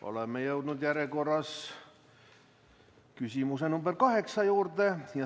Oleme jõudnud järjekorras küsimuse nr 8 juurde.